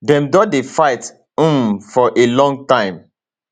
dem don dey fight um for a long time